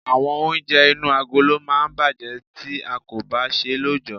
Àwọn oúnjẹ inú agolo máa ń bàjẹ́ tí a kò bá ṣe é lọ́jọ̀.